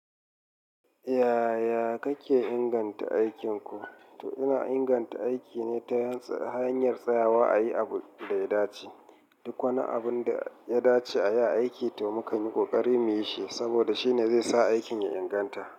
Yaya kake inganta aikinku? To ina inganta aiki ne ta hanyar tsayawa a yi abu da ya dace. Duk wani abun da ya dace a yi a aiki to mukan yi ƙoƙari mu yi shi saboda shi ne zai sa aikin ya inganta.